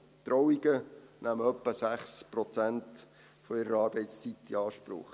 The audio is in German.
Trauungen nehmen ungefähr 6 Prozent ihrer Arbeitszeit in Anspruch.